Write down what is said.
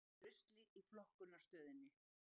Eldur í rusli í flokkunarstöðinni